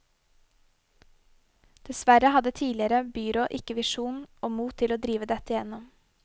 Dessverre hadde tidligere byråd ikke visjon og mot til å drive dette igjennom.